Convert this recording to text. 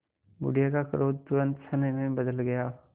बुढ़िया का क्रोध तुरंत स्नेह में बदल गया